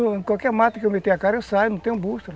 Em qualquer mato que eu meter a cara eu saio, não tenho bússola.